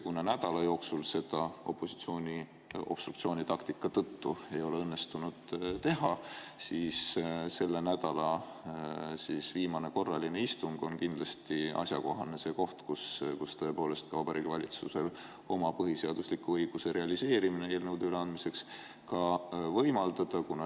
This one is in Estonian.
Kuna nädala jooksul seda opositsiooni obstruktsioonitaktika tõttu ei ole õnnestunud teha, siis selle nädala viimane korraline istung on kindlasti see asjakohane koht, kus tõepoolest tuli ka Vabariigi Valitsusele oma põhiseadusliku õiguse realiseerimine eelnõude üleandmiseks võimaldada.